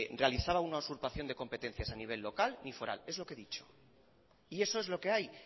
realizaba una usurpación de competencias a nivel local ni foral es lo que he dicho y eso es lo que hay